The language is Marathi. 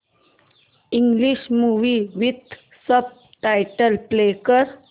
English movie with subtitles play कर